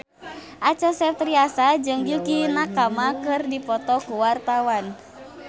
Acha Septriasa jeung Yukie Nakama keur dipoto ku wartawan